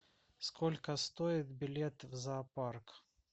сколько стоит билет в зоопарк